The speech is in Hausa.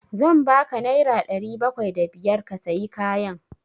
Zan ba ka naira ɗari bakwai da biyar ka sayi kayan.